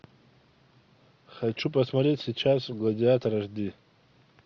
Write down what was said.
хочу посмотреть сейчас гладиатор аш ди